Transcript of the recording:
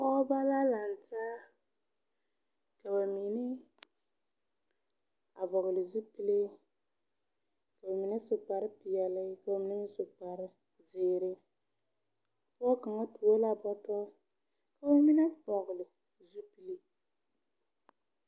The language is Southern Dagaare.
Pɔɔbɔ la lang taa ka ba mine a vɔgle zupile ka ba mine su kpare peɛɛli ka ba mine su kparezeere pɔɔ kaŋa tuo la bɔtɔrre ka ba mine vɔgle zupile.